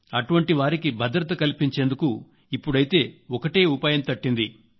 అటువంటి వారికి భద్రత కల్పించేందుకు ఒక్కటే ఉపాయం తట్టింది